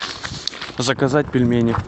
заказать пельмени